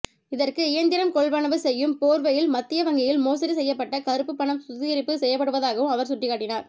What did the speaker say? இதற்கு இயந்திரம் கொள்வனவு செய்யும் போர்வையில் மத்திய வங்கியில் மோசடி செய்யப்பட்ட கறுப்பு பணம் சுத்திகரிப்பு செய்பபடுவதாகவும் அவர் சுட்டிக்காட்டினார்